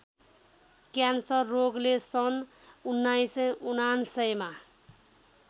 cancer रोगले सन् १९९९मा